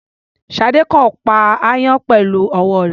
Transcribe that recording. Ṣadé kàn ń pa aáyán pẹ̀lú ọwọ́ rẹ̀.